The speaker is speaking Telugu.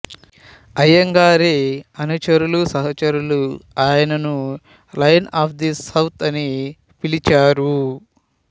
అయ్యంగారి అనుచరులు సహచరులు ఆయనను లయన్ ఆఫ్ ది సౌత్ అని పిలిచారు